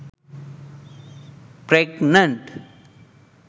pregnant